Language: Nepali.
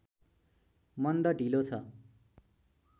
मन्द ढिलो छ